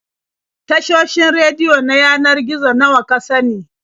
Tashoshin rediyo na yanar gizo nawa ka sani?